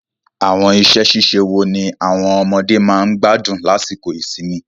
Àwọn iṣẹ́-ṣíṣe wo ni àwọn ọmọdé máa ń gbádùn lásìkò ìsinmi?